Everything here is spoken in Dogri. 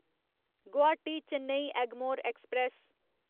गुवाहाटी चेन्नई एगमोर ऐक्सप्रैस